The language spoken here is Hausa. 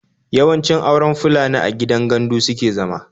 Yawanci auren Fulani a gidan gandu suke zama